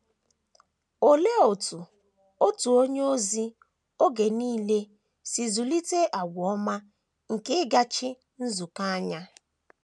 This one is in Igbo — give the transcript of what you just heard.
Olee otú otu onye ozi oge nile si zụlite àgwà ọma nke ịgachi nzukọ anya?